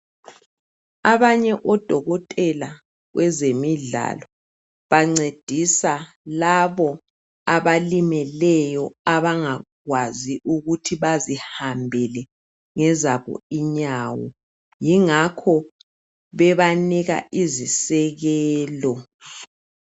Abanye odokotela kwezemidlalo bancedisa labo abalimeleyo abangakwazi ukuthi bazihambele ngezabo inyawo yingakho bebanika izisekelo